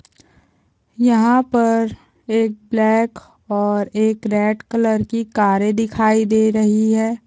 यहाँ पर एक ब्लैक और एक रेड कलर की कारे दिखाई दे रही है।